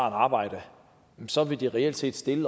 arbejde så ville det reelt set stille